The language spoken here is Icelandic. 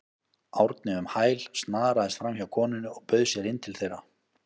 Árni um hæl, snaraðist framhjá konunni og bauð sér inn til þeirra.